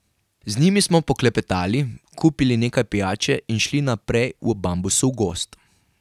Z njimi smo poklepetali, kupili nekaj pijače in šli naprej v bambusov gozd.